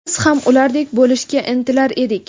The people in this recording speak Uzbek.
Biz ham ulardek bo‘lishga intilar edik.